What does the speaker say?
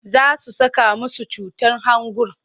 Za su saka musu cutar hangun.